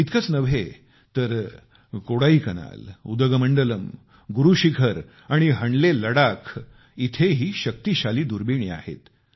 एवढेच नव्हे तर कोडाईकनाल उदगमंडलम गुरु शिखर आणि हणले लडाख इथेही शक्तिशाली दुर्बिणी आहेत